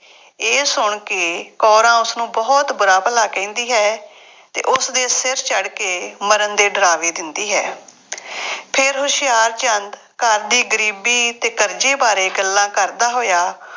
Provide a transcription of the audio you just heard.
ਇਹ ਸੁਣ ਕੇ ਕੌਰਾਂ ਉਸਨੂੰ ਬਹੁਤ ਬੁਰਾ ਭਲਾ ਕਹਿੰਦੀ ਹੈ ਅਤੇ ਉਸਦੇ ਸਿਰ ਚੜ੍ਹ ਕੇ ਮਰਨ ਦੇ ਡਰਾਵੇ ਦਿੰਦੀ ਹੈ। ਫੇਰ ਹੁਸ਼ਿਆਰਚੰਦ ਘਰ ਦੀ ਗਰੀਬੀ ਅਤੇ ਕਰਜ਼ੇ ਬਾਰੇ ਗੱਲਾਂ ਕਰਦਾ ਹੋਇਆ